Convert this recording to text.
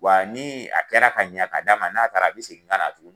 Wa ni a kɛra ka ɲa k'a d'a ma n'a taara a bi segin ka na tuguni